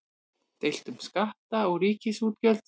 Deilt um skatta og ríkisútgjöld